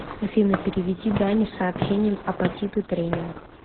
афина переведи дане с сообщением апатиты тренинг